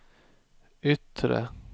yttre